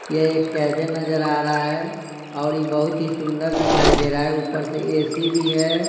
यह एक कैबिन नजर आ रहा हैऔर यह बहुत ही सुंदर दिखाई दे रहा हैऊपर से एसी भी है।